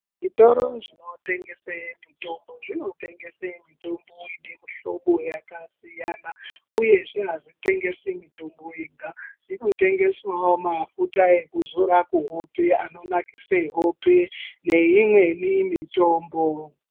Zvitoro zvinotengese mitombo zvinotengese mitombo ine mihlobo yakasiyana uyezve avitengesi mitombo yega zvinotengesawo mafuta ekuzora kuhope anonakisa hope neimweni mitombo.